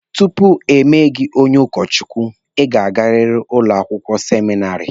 Tupu emee gị onye ụkọ Chukwu, Ị ga-agariri ụlọakwụkwọ seminari.